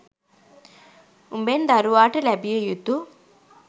උඹෙන් දරුවාට ලැබිය යුතු